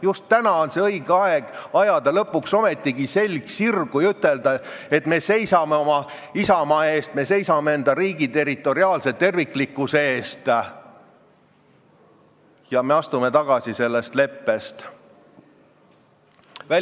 Just nüüd on õige aeg ajada lõpuks ometigi selg sirgu ja ütelda, et me seisame oma isamaa eest, me seisame oma riigi territoriaalse terviklikkuse eest ja me astume sellest leppest tagasi.